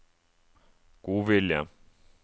godvilje